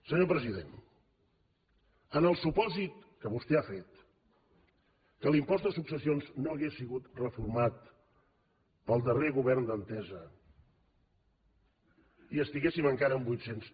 senyor president en el supòsit que vostè ha fet que l’impost de successions no hagués sigut reformat pel darrer govern d’entesa i que estiguéssim encara en vuit cents